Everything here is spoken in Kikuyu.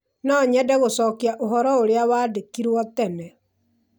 No nyende gũcokia ũhoro ũrĩa wandĩkĩirũo tene.